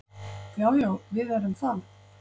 Já, já við erum það.